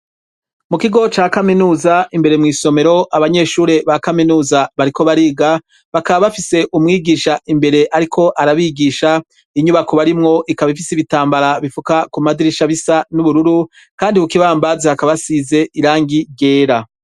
Mu kigo ca kaminuza imbere mwisomero abanyeshuri ba kaminuza bariko bariga bakaba bafise umwigisha imbere ariko arabigisha inyubako barimwo ikaba ifise ibitambara bifuka kumadirisha bisa n'ubururu kandi kukibambazi hakaba asize irangi ryera.